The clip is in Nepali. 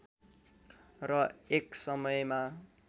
र एक समयमा